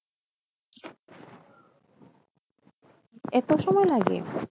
এতো সময় লাগে?